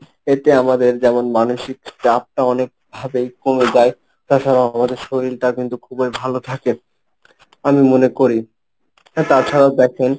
এতে আমাদের যেমন মানসিক চাপটা অনেক ভাবেই কমে যায়। তাছাড়াও আমাদের শরীরটা কিন্তু খুবই ভালো থাকে আমি মনে করি। তাছাড়াও দেখেন,